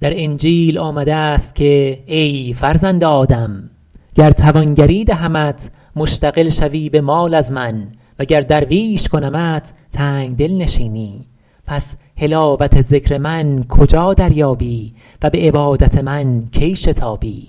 در انجیل آمده است که ای فرزند آدم گر توانگری دهمت مشتغل شوی به مال از من و گر درویش کنمت تنگدل نشینی پس حلاوت ذکر من کجا دریابی و به عبادت من کی شتابی